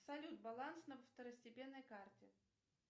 салют баланс на второстепенной карте